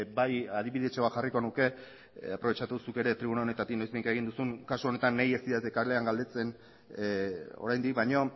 bai adibidetxo bat jarriko nuke aprobetxatu zuk ere tribuna honetatik noizbehinka kasu honetan ez didate kalean galdetzen oraindik baina